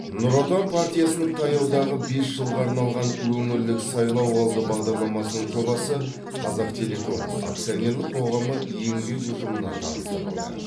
нұр отан партиясының таяудағы бес жылға арналған өңірлік сайлауалды бағдарламасының жобасы қазақтелеком акционерлік қоғамы еңбек ұжымына таныстырылды